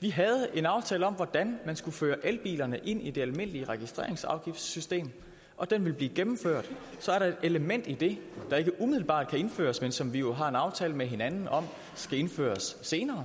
vi havde en aftale om hvordan man skulle føre elbilerne ind i det almindelige registreringsafgiftssystem og den vil blive gennemført så er der et element i det der ikke umiddelbart kan indføres men som vi har en aftale med hinanden om skal indføres senere